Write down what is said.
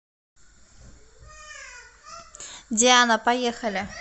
диана поехали